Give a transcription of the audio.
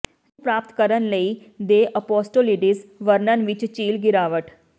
ਨੂੰ ਪ੍ਰਾਪਤ ਕਰਨ ਲਈ ਦੇ ਔਪੌਸਟੋਲੀਡੀਸ ਵਰਣਨ ਵਿੱਚ ਝੀਲ ਗਿਰਾਵਟ